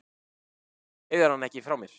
Þú hefur hann ekki frá mér.